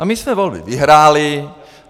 A my jsme volby vyhráli.